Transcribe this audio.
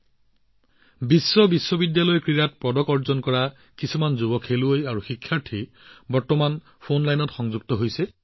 সেয়ে বিশ্ব বিশ্ববিদ্যালয় গেমছত পদক অৰ্জন কৰা একাংশ যুৱ ক্ৰীড়াবিদ ছাত্ৰছাত্ৰী বৰ্তমান মোৰ সৈতে ফোন লাইনত সংযুক্ত হৈ আছে